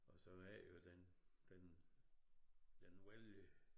Og så er det jo den den den vældig